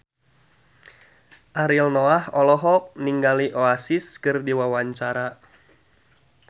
Ariel Noah olohok ningali Oasis keur diwawancara